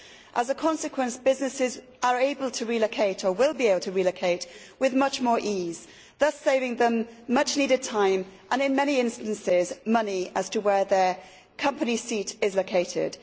As a consequence, businesses are able to relocate, or will be able to relocate, with much more ease, thus saving them much needed time and, in many instances, money in determining where their company seat is located.